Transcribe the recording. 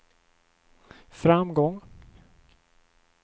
framgång